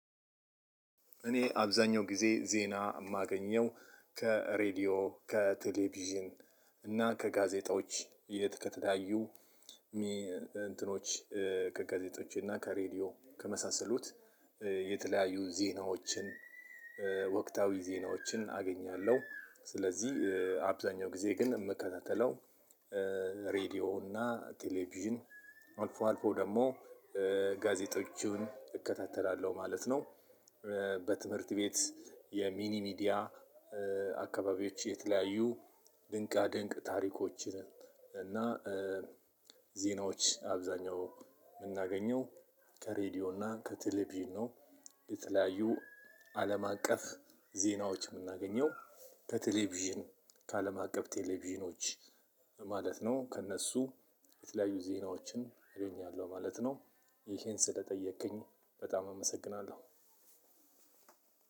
እኔ አብዛኛው ጊዜ ዜና የማገኘው ከሬዲዮ ከቴሌቪዥን እና ከጋዜጦች የት ከተለያዩ እንትኖች ከጋዜጦች እና ከሬዲዮ ከመሳሰሉት የተለያዩ ዜናዎችን ወቅታዊ ዜናዎችን አገኛለሁ። ስለዚህ አብዛኛው ጊዜ ግን የምከታተለው ሬድዮ እና ቴሌቪዥን አልፎ አልፎ ደግሞ ጋዜጦቹን እከታተላለሁ ማለት ነው። በትምህርት ቤት የሚኒ ሚዲያ አካባቢዎች የተለያዩ ድንቃድንቅ ታሪኮችን እና ዜናዎች አብዛኛው የምናገኘው ከሬዲዮ እና ከቴሌቪዥን ነው። የተለያዩ አለም አቀፍ ዜናዎች የምናገኘው ከቴሌቪዥን ከአለም አቀፍ ቴሌቪዥኖች ማለት ነው። ከእነሱ የተለያዩ ዜናዎችን አገኛለሁ ማለት ነው። ይሄን ስለጠየከኝ በጣም አመሰግናለሁ።